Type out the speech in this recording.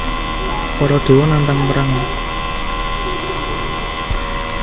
Para dewa nantang perang